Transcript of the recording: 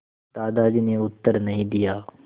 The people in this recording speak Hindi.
दादाजी ने उत्तर नहीं दिया